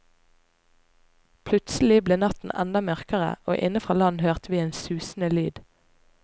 Plutselig ble natten enda mørkere, og inne fra land hørte vi en susende lyd.